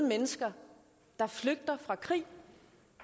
og fem